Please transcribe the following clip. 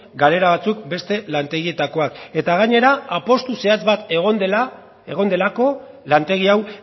galera batzuk beste lantegietakoak eta gainera apustu zehatz bat egon delako lantegi hau